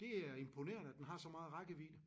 Det er imponerende at den har så meget rækkevidde